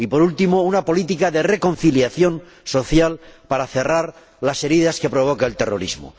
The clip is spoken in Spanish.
Y, por último, una política de reconciliación social para cerrar las heridas que provoca el terrorismo.